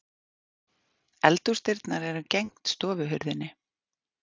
Eldhúsdyrnar eru gegnt stofuhurðinni.